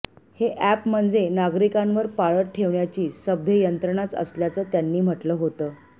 हे अॅप म्हणजे नागरिकांवर पाळत ठेवण्याची सभ्य यंत्रणाच असल्याचं त्यांनी म्हटलं होतं